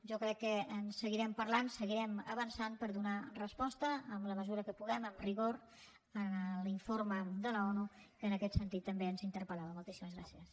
jo crec que en seguirem parlant seguirem avançant per donar resposta en la mesura que puguem amb rigor a l’informe de l’onu sobre què en aquest sentit també ens interpelmoltíssimes gràcies